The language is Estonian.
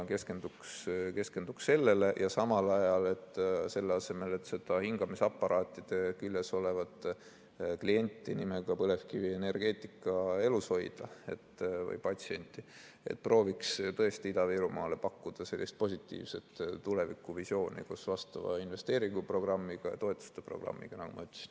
Keskenduks sellele ja selle asemel, et seda hingamisaparaatide küljes olevat klienti või patsienti nimega põlevkivienergeetika elus hoida, prooviks tõesti Ida-Virumaale pakkuda positiivset tulevikuvisiooni vastava investeeringuprogrammiga ja toetuste programmiga, nagu ma ütlesin.